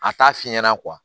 A t'a fi ɲɛna